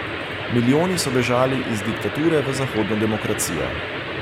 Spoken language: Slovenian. Milijoni so bežali iz diktature v zahodno demokracijo.